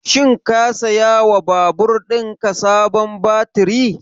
Shin ka saya wa babur ɗin ka sabon baturi?